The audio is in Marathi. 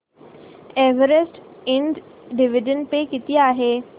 एव्हरेस्ट इंड डिविडंड पे किती आहे